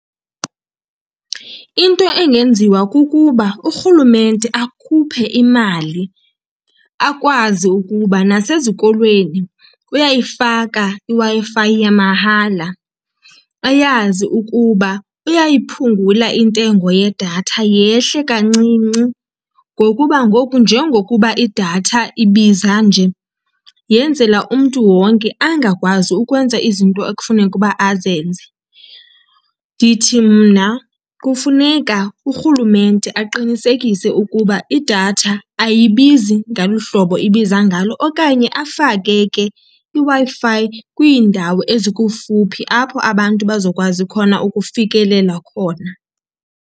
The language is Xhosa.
Into engenziwa kukuba urhulumente akhuphe imali akwazi ukuba nasezikolweni uyayifaka iWi-Fi yamahala, ayazi ukuba uyayiphungula intengo yedatha yehle kancinci ngokuba ngoku njengokuba idatha ibiza nje yenzela umntu wonke angakwazi ukwenza izinto ekufuneka uba azenze. Ndithi mna kufuneka urhulumente aqinisekise ukuba idatha ayibizi ngolu hlobo ibiza ngalo okanye afake ke iWi-Fi kwiindawo ezikufuphi apho abantu bazokwazi khona ukufikelela khona.